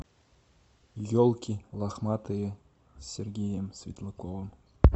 елки лохматые с сергеем светлаковым